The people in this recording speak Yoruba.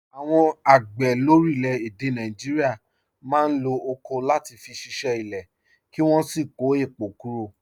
Àwọn àgbẹ̀ lórílẹ̀-èdè Nàìjíríà máa ń lo ọ̀kọ̀ láti fi ṣiṣẹ́ ilẹ̀, kí wọ́n sì kó èpò kúrò.